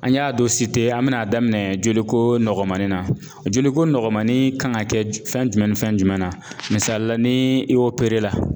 An y'a dɔ an bɛna a daminɛ joliko nɔgɔmannin na joliko nɔgɔmannin kan ka kɛ fɛn jumɛn ni fɛn jumɛn na misali la ni i la